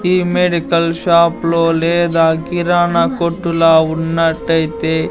ఈ medical shop లో లేదా కిరాణా కొట్టులా ఉన్నట్టయితే--